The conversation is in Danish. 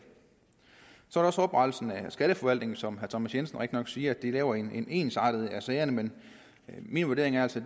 så er der også oprettelsen af skatteforvaltningen som herre thomas jensen rigtignok siger laver en ensartet behandling af sagerne men min vurdering er altså